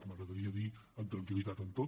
m’agra·daria dir amb tranquil·litat en tot